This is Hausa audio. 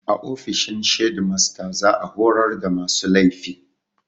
A ofishin shedimasta za a horar da masu laifi